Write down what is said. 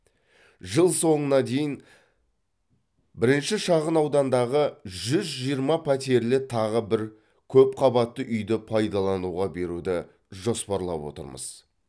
жыл соңына дейін бірінші шағын аудандағы жүз жиырма пәтерлі тағы бір көпқабатты үйді пайдалануға беруді жоспарлап отырмыз